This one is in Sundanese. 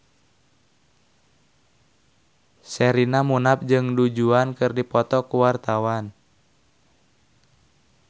Sherina Munaf jeung Du Juan keur dipoto ku wartawan